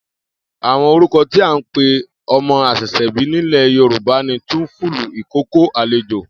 Àwo̩n orúko̩ tí à ń pe o̩mo̩ às̩è̩s̩è̩bí nílè̩ Yorùbá ni túnfúlù, ìkókó, àlejò